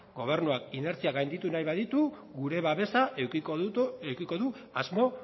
gobernuak inertziak gainditu nahi baditu gure babesa edukiko du asmo